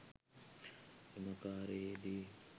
එම කාර්යයේදී